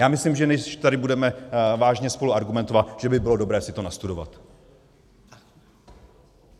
Já myslím, že než tady budeme vážně spolu argumentovat, že by bylo dobré si to nastudovat.